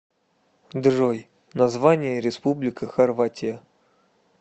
джой название республика хорватия